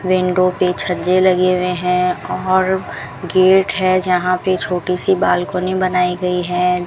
Window के छज्जे लगे हुए हैं और गेट हैं जहां पे छोटी सी बालकनी बनाई गई है।